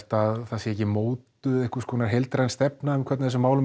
að það sé ekki mótuð heildræn stefnu um hvernig þessum málum